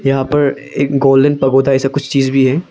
यहां पर एक गोल्डन पैगोडा ऐसा कुछ चीज भी है।